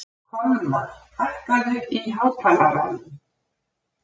Kolmar, hækkaðu í hátalaranum.